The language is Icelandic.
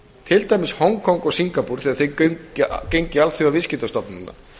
til dæmis hong kong og singapúr þegar þau gengu í alþjóðaviðskiptastofnunina